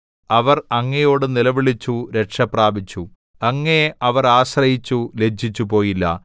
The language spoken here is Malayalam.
അവർ അങ്ങയോട് നിലവിളിച്ചു രക്ഷപ്രാപിച്ചു അങ്ങയെ അവർ ആശ്രയിച്ചു ലജ്ജിച്ചുപോയില്ല